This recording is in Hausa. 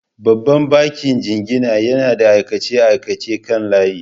Babban bankin jingina yana da aikace-aikacen kan layi.